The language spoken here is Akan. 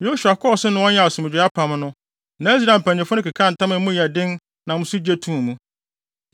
Yosua kɔɔ so ne wɔn yɛɛ asomdwoe apam no na Israel mpanyimfo no kekaa ntam a emu yɛ den nam so gye too mu.